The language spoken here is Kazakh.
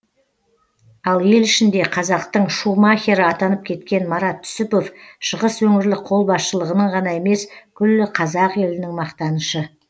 ал ел ішінде қазақтың шумахері атанып кеткен марат түсіпов шығыс өңірлік қолбасшылығының ғана емес күллі қазақ елінің мақтанышы